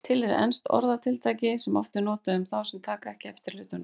Til er enskt orðatiltæki sem oft er notað um þá sem taka ekki eftir hlutunum.